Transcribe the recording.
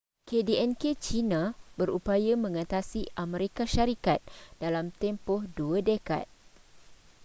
kdnk china berupaya mengatasi amerika syarikat dalam tempoh dua dekad